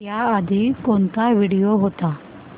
याआधी कोणता व्हिडिओ होता